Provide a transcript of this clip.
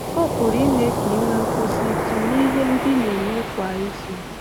Ọ pụrụ ime ka i nwee nkwụsịtụ n’ihe ndị ị na-eme kwa izu.